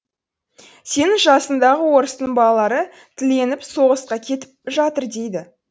сенің жасыңдағы орыстың балалары тіленіп соғысқа кетіп жатыр дейді